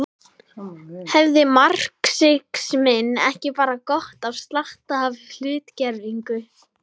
Hefði marxisminn ekki bara gott af slatta af hlutgervingu.